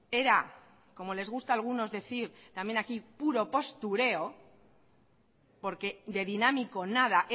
era como les gusta a algunos decir también aquí puro postureo porque de dinámico nada